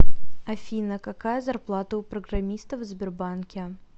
афина какая зарплата у программистов в сбербанке